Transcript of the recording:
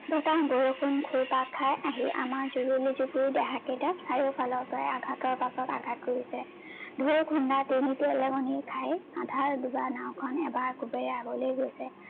বৰষুন খাই আহি আমাৰ জুৰুলি জুপুৰি দেহা কেইটা চাৰিওফালৰ পৰা আঘাতৰ ওপৰত আঘাত কৰিছে, ঢৌৰ খুন্দাত আধা দুবা নাওখন এবাৰ আকৌ আগলে গৈছে